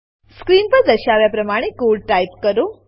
screen પર દર્શાવ્યા પ્રમાણે કોડ ટાઈપ કરો